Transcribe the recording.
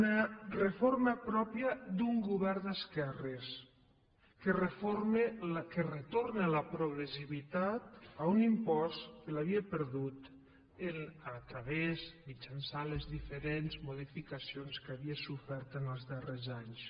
una reforma pròpia d’un govern d’esquerres que retorna la progressivitat a un impost que l’havia perdut a través mitjançant les diferents modificacions que havia sofert els darrers anys